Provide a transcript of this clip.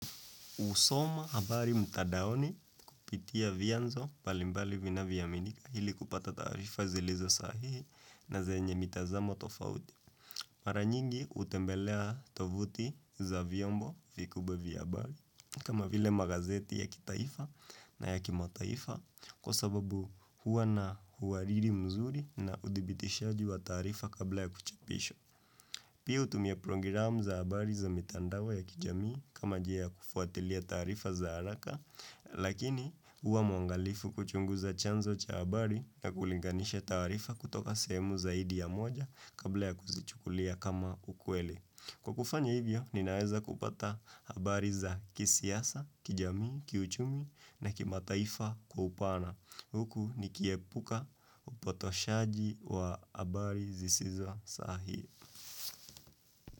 Usoma abari mtadaoni kupitia vianzo mbalimbali vinavyoaminika ili kupata taarifa zilizo sahihi na zenye mitazamo tofauti. Mara nyingi utembelea tovuti za vyombo vikubwa vya abari kama vile magazeti ya kitaifa na ya kimataifa kwa sababu huwa na huwariri mzuri na udibitishaji wa tarifa kabla ya kuchapisha. Pia utumia prongiramu za habari za mitandawe ya kijamii kama jia ya kufuatilia tarifa za haraka, lakini uwa mwangalifu kuchunguza chanzo cha habari na kulinganisha tarifa kutoka semu zaidi ya moja kabla ya kuzichukulia kama ukwele. Kwa kufanya hivyo, ninaeza kupata habari za kisiasa, kijamii, kiuchumi na kimataifa kwa upana. Huku nikiepuka upotoshaji wa habari zisizo sahi.